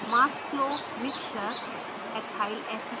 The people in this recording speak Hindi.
mass flow mixture/ethyl acetate